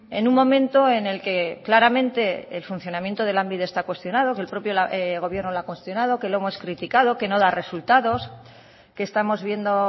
en un momento en el que claramente el funcionamiento de lanbide está cuestionado que el propio gobierno lo ha cuestionado que lo hemos criticado que no da resultados que estamos viendo